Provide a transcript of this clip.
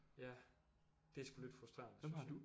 Ja det er sgu lidt frustrerende synes jeg